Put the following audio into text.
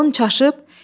Ağlın çaşıb?